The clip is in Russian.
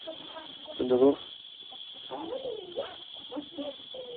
столяров